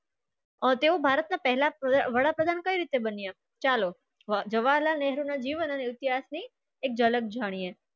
તેવું ભારતના પહેલા વાળા પ્રધાન કેવી રીતે બન્યો. ચલો જૌહરલાલ નહેરુ ના જેવાના વિષયી એક ઝલક જાણીયે.